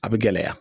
A bɛ gɛlɛya